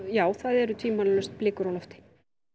já það eru tvímælalaust blikur á lofti